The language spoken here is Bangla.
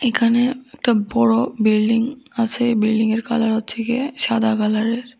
এখানে একটা বড় বিল্ডিং আছে বিল্ডিংয়ের কালার হচ্ছে গিয়ে সাদা কালারের।